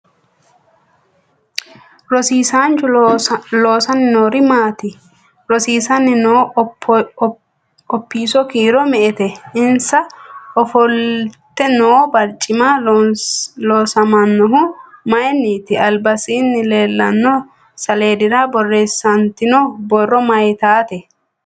Rosiisanchu loosani noori maati rosiisani noo opso kiiro me'ete insa ofolte noo barcimi loosaminohu mayiiniti albasaani leelanno saleedira boreesantino borro mayiitaate